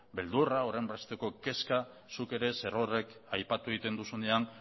beldurra horrenbesteko kezka zuk zerorrek ere aipatu egiten duzunean